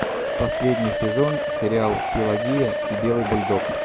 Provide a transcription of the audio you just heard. последний сезон сериал пелагея и белый бульдог